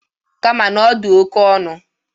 Kama na ọ dị oke ọnụ.